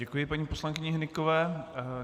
Děkuji paní poslankyni Hnykové.